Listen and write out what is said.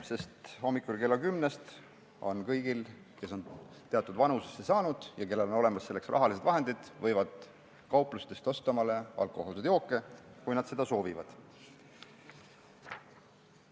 Sest hommikul kella kümnest on kõigil, kes on teatud vanusesse jõudnud ja kellel on olemas selleks rahalised vahendid, võimalik kauplusest endale alkohoolseid jooke osta, kui nad seda soovivad.